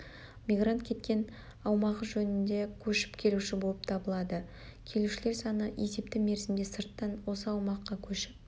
мигрант кеткен аумағы жөнінде көшіп келуші болып табылады келушілер саны-есепті мерзімде сырттан осы аумаққа көшіп